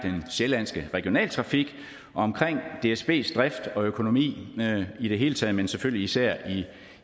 sjællandske regionaltrafik omkring dsbs drift og økonomi i det hele taget men selvfølgelig især